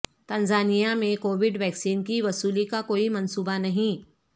Tanzania میں Covid vaccine کی وصولی کا کوئی منصوبہ نہیں